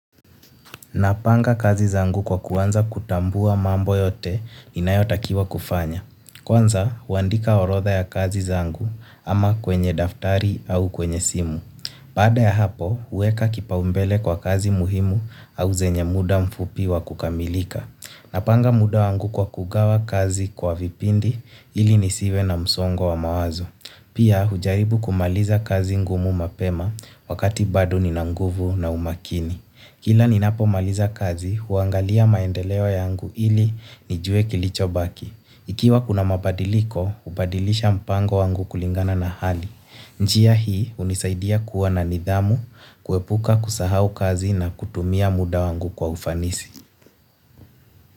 Napanga kazi zangu kwa kuwanza kutambua mambo yote ninayotakiwa kufanya. Kwanza, huandika orotha ya kazi zangu ama kwenye daftari au kwenye simu. Pada ya hapo, uweka kipaumbele kwa kazi muhimu au zenye muda mfupi wa kukamilika. Napanga muda wangu kwa kugawa kazi kwa vipindi ili nisiwe na msongo wa mawazo. Pia, hujaribu kumaliza kazi ngumu mapema wakati badu nina nguvu na umakini. Kila ninapo maliza kazi, huangalia maendelewo yangu ili nijue kilicho baki. Ikiwa kuna mabadiliko, upadilisha mpango wangu kulingana na hali. Njia hii unisaidia kuwa na nidhamu, kuepuka kusahau kazi na kutumia muda wangu kwa ufanisi.